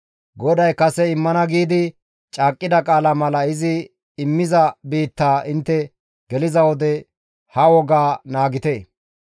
GODAY kase immana giidi caaqqida qaala mala izi immiza biittaa intte geliza wode ha wogaa naagite.